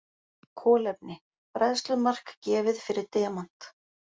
Kolefni: Bræðslumark gefið fyrir demant.